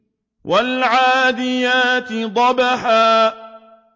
وَالْعَادِيَاتِ ضَبْحًا